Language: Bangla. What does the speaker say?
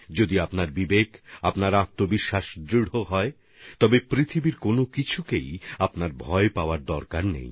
যদি আপনার বিবেক ও আত্মবিশ্বাস মজবুত হয় তাহলে পৃথিবীর কোনকিছু নিয়েই ভয় পাওয়ার কোন প্রয়োজন নেই